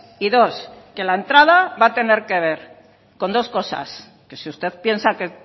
y dos que la entrada va a tener que ver con dos cosas que si usted piensa que